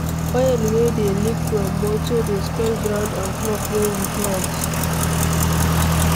Oil wey dey leak from motor dey spoil ground and crop wey we plant